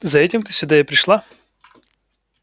за этим ты сюда и пришла